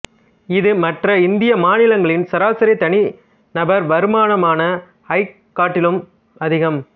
இது மற்ற இந்திய மாநிலங்களின் சராசரி தனிநபர் வருமானமான ஐக் காட்டிலும் அதிகம்